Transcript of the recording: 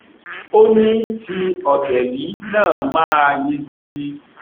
ó ní ti ọtẹ yìí náà máa yege